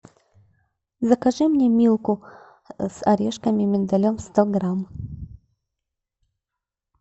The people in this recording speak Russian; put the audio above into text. закажи мне милку с орешками миндалем сто грамм